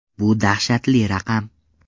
Bu dahshatli raqam.